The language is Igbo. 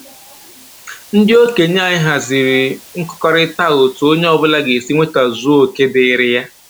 Ndị okenye anyị haziri nkụkọrịta a otu onye ọbụla ga-esi nwetazuo oke dịịrị ya